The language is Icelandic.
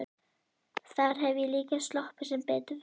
Þar hef ég líka sloppið sem betur fer.